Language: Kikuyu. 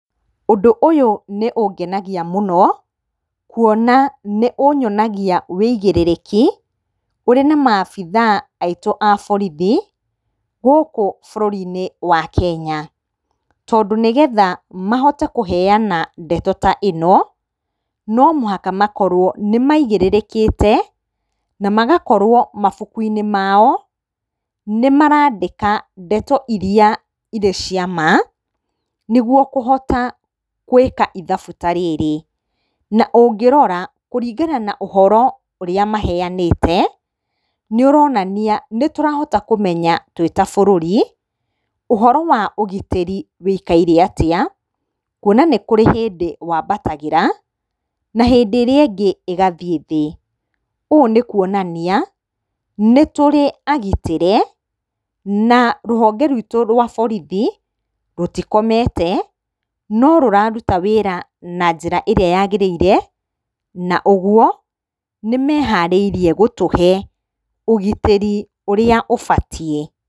Ũndũ ũyũ nĩũngenagia mũno kuona nĩũyonagia ũigĩrĩrĩki ũrĩ na maabithaa aitũ a borithi gũkũ bũrũri-inĩ wa Kenya. Tondũ nĩgetha mahote kũheana ndeto ta ĩno no mũhaka makorwo nĩmaigĩrĩrĩkĩte na magakorwo mabuku-inĩ mao nĩmarandĩka ndeto iria cirĩ cia ma nĩguo kũhota gwĩka ithabu ta rĩrĩ. Na ũngĩrora kũringana na ũhoro ũrĩa maheyanĩte nĩũronania nĩtũrahota kũmenya twĩ ta bũrũri ũhoro wa ũgitĩri wũikarĩte atĩa kuona kũrĩ hĩndĩ wambatagĩra na hĩndĩ ĩrĩa ĩngĩ ĩgathiĩ thĩ. Ũũ nĩ kuonania nĩtũrĩ agitĩre na rũhonge rũitũ rwa borithi rũtikomete no rũraruta wĩra na njĩra ĩrĩa yagĩrĩire na koguo nĩmeharĩirie gũtũhe ũgitĩri ũrĩa ũbatiĩ.